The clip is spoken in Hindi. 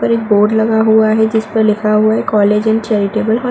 ऊपर एक बोर्ड लगा हुआ है जिस पर लिखा हुआ है कॉलेज एंड चैरिटेबल हौं --